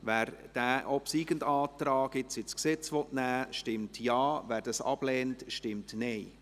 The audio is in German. Wer den obsiegenden Antrag ins Gesetz aufnehmen will, stimmt Ja, wer dies ablehnt, stimmt Nein.